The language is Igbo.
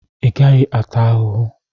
ị gaghị ata ahụhụ